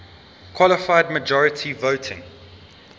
qualified majority voting